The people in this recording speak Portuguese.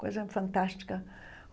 Coisa fantástica.